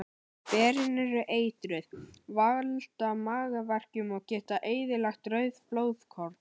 Berin eru eitruð, valda magaverkjum og geta eyðilagt rauð blóðkorn.